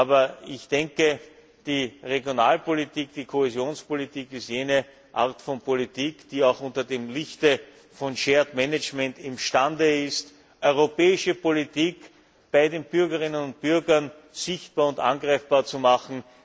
Aber die Regionalpolitik, die Kohäsionspolitik, ist jene Art von Politik, die auch unter dem Lichte von Shared Management imstande ist, europäische Politik bei den Bürgerinnen und Bürgern sichtbar und greifbar zu machen.